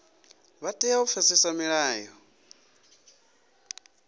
vha tea u pfesesa milayo